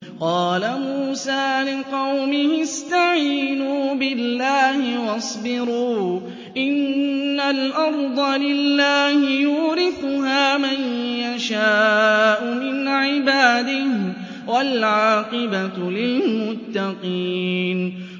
قَالَ مُوسَىٰ لِقَوْمِهِ اسْتَعِينُوا بِاللَّهِ وَاصْبِرُوا ۖ إِنَّ الْأَرْضَ لِلَّهِ يُورِثُهَا مَن يَشَاءُ مِنْ عِبَادِهِ ۖ وَالْعَاقِبَةُ لِلْمُتَّقِينَ